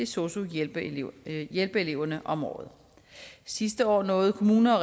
sosu hjælpereleverne hjælpereleverne om året sidste år nåede kommunerne og